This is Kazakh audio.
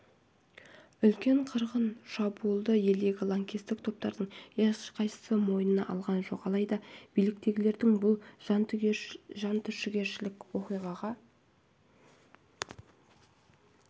үлкен қырғын шабуылды елдегі лаңкестік топтардың ешқайсысы мойнына алған жоқ алайда биліктегілер бұл жантүршігерлік оқиғаға